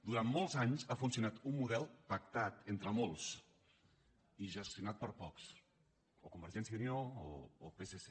durant molts anys ha funcionat un model pactat entre molts i gestionat per pocs o convergència i unió o psc